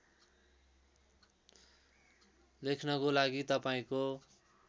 लेख्नको लागि तपाईँको